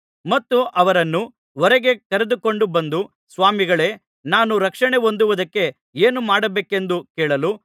ಮತ್ತು ಅವರನ್ನು ಹೊರಗೆ ಕರೆದುಕೊಂಡು ಬಂದು ಸ್ವಾಮಿಗಳೇ ನಾನು ರಕ್ಷಣೆಹೊಂದುವುದಕ್ಕೆ ಏನು ಮಾಡಬೇಕೆಂದು ಕೇಳಲು